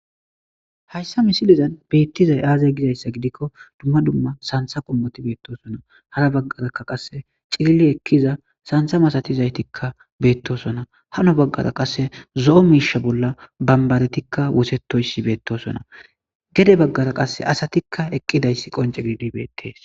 Hayssi missilezan bettizay aaze gizzayssa giidikko dumma dumma santha qoommoti bettosona haara baggara qasse ciillio ekkiza sanththa masatizayttika bettossona haano baggera qasse zo'o mishsha bolla banbbaretika woththetoyssi bettosona geede baggara qasse asatike eqqidayssi qoncce giididi bettes.